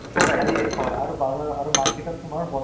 কিবা ৰাজ কাপুৰ নেকি? ৰাজ কাপুৰ movie